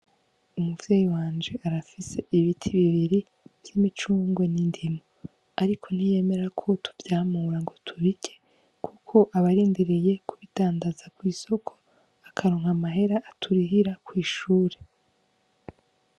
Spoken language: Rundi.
Umuvyeyi wanje arafise ibiti bibiri vy'imicungwe n'indimu ariko ntiyemera ko tuvyamura ngo tubirye kuko aba arindiriye ku bidandaza kw'isoko akaronka amahera aturihira kw'ishuri.